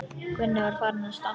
Gunni var farinn að stama.